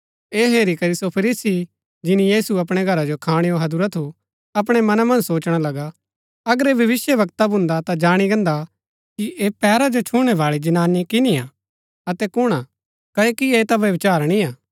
ऐह हेरी करी सो फरीसी जिन्‍नी यीशु अपणै घरा जो खाणैओ हैदुरा थू अपणै मना मन्ज सोचणा लगा अगर ऐह भविष्‍यवक्ता भुन्दा ता जाणी गान्दा कि ऐह पैरा जो छुणै बाळी जनानी किनी हा अतै कुणआ कओकि ऐह ता व्यभिचारिणी हा